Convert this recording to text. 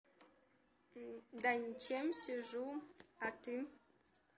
да ничем сижу а ты